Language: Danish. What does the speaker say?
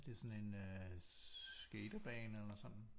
Er det sådan en skaterbane eller sådan